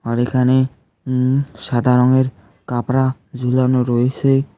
আর এখানে উম সাদা রংয়ের কাপড়া ঝুলানো রইসে।